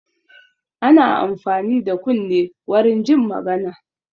Ana amfani da kunne warin jin magana.